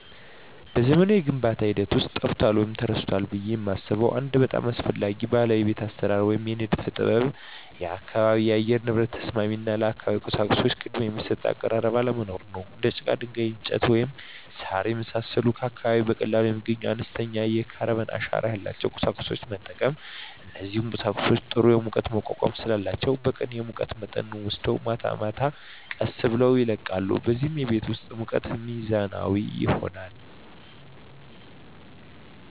በዘመናዊው የግንባታ ሂደት ውስጥ ጠፍቷል ወይም ተረስቷል ብዬ የማስበው አንድ በጣም አስፈላጊ ባህላዊ የቤት አሰራር ወይም የንድፍ ጥበብ የአካባቢ የአየር ንብረት ተስማሚ እና ለአካባቢው ቁሳቁሶች ቅድሚያ የሚሰጥ አቀራረብ አለመኖር ነው። እንደ ጭቃ፣ ድንጋይ፣ እንጨት፣ ወይም ሣር የመሳሰሉ ከአካባቢው በቀላሉ የሚገኙና አነስተኛ የካርበን አሻራ ያላቸውን ቁሳቁሶች መጠቀም። እነዚህ ቁሳቁሶች ጥሩ የሙቀት መቋቋም ስላላቸው በቀን የሙቀት መጠንን ወስደው ማታ ቀስ ብለው ይለቃሉ፣ በዚህም የቤት ውስጥ ሙቀት ሚዛናዊ ይሆናል።